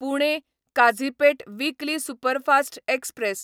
Pune Kazipet weekly superfast express